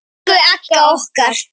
Elsku Agga okkar.